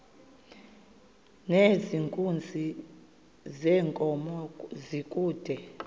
nezenkunzi yenkomo kude